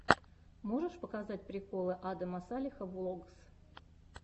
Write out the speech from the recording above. можешь показать приколы адама салеха влогс